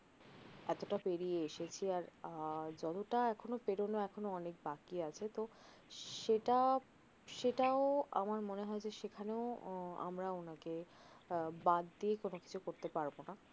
এতটা পেরিয়ে এসেছি আহ যতটা এখনও পেরনো অনেক বাকি আছে তহ সেটা সেটাও আমার মনে হয় যে সেখানেও আমারা ওনাকে আহ বাদ দিয়ে কোনও কিছু করতে পারব না